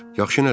Yaxşı nədir?